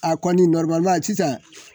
A kɔni sisan